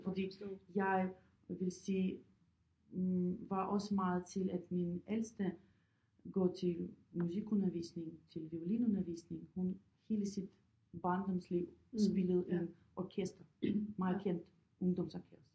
Fordi jeg vil sige var også meget til at min ældste går til musikundervisning til violinundervisning hun hele sit barndomsliv spillede i orkester meget kendt ungdomsorkester